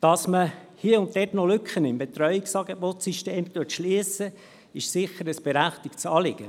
Dass man hier und dort noch Lücken im System der Betreuungsangebote schliesst, ist sicher ein berechtigtes Anliegen.